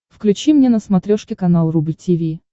включи мне на смотрешке канал рубль ти ви